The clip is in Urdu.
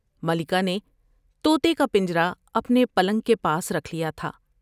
ملکہ نے تو تے کا پنجرہ اپنے پلنگ کے پاس رکھ لیا تھا ۔